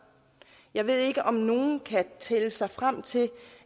jeg ved ikke om nogen kan tælle sig frem til